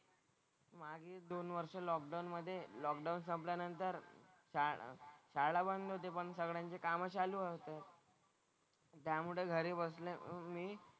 मागे दोन वर्ष लॉकडाउन मधे लॉकडाउन संपल्यानंतर शाळा शाळा बंद होते पण सगळ्यांचे कामं चालू होते. त्यामुळे घरी बसल्या मी,